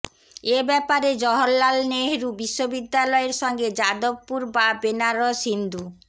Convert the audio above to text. এ ব্যাপারে জওহরলাল নেহরু বিশ্ববিদ্যালয়ের সঙ্গে যাদবপুর বা বেনারস হিন্দু